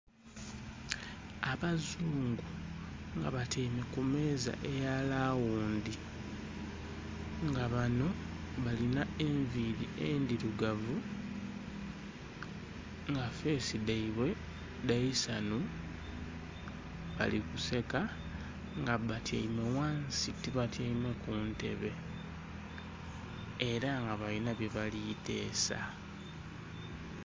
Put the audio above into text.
Abazungu nga batyaime kumeeza eyalaghundhi nga banho balinha enviiri endhirugavu nga feesi dhaibwe dhaisanhu balikuseka nga bbatyaime ghansi tibatyaime kuntebe era nga balinha byebalitesa.